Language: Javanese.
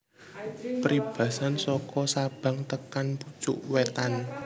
Pribasan soko Sabang tekan pucuk wetan